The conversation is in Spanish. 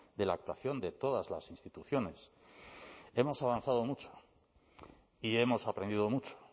de la actuación de todas las instituciones hemos avanzado mucho y hemos aprendido mucho